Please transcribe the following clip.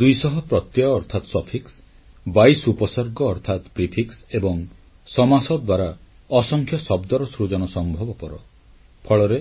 ଦୁଇଶହ ପ୍ରତ୍ୟୟ ଅର୍ଥାତ୍ ପଶ୍ଚାତସଂଯୋଗSuffix 22 ଉପସର୍ଗ ଅର୍ଥାତ୍ ପୂର୍ବସଂଯୋଗ ପ୍ରିଫିକ୍ସ ଏବଂ ସମାସ ଦ୍ୱାରା ଅସଂଖ୍ୟ ଶବ୍ଦର ସୃଜନ ସମ୍ଭବପର ଫଳରେ